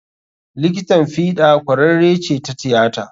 Likitan fiɗa ƙwararre ce ta tiyata.